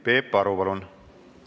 Peep Aru, palun!